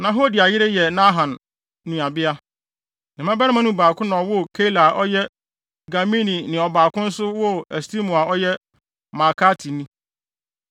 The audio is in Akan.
Na Hodia yere yɛ Naham nuabea. Ne mmabarima no mu baako na ɔwoo Keila a ɔyɛ Garmini na ɔbaako nso woo Estemoa a ɔyɛ Maakatni.